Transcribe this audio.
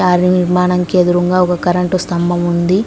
మరి మనకు ఎదురుంగా ఒక కరెంటు స్తంభం ఉంది.